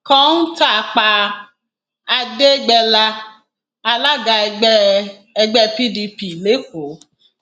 kọńtà pa àdẹgbẹlà alága ẹgbẹ ẹgbẹ pdp lẹkọọ